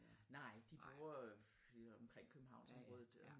Nej de bor øh lige omkring Københavnsområdet